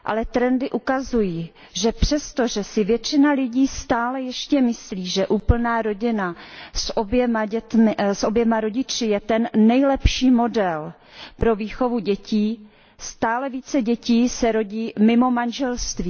Trendy ukazují, že přestože si většina lidí stále ještě myslí, že úplná rodina s oběma rodiči je ten nejlepší model pro výchovu dětí, stále více dětí se rodí mimo manželství.